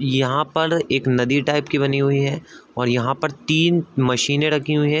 यहाँ पर एक नदी टाइप की बनी हुई हैं और यहाँ पर तीन मशीने रखी हुई हैं |